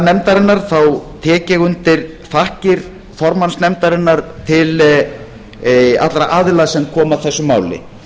nefndarinnar tek ég undir þakkir formanns nefndarinnar til allra aðila sem komu að þessu máli